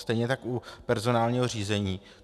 Stejně tak u personálního řízení.